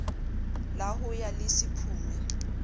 la ho ya le sephume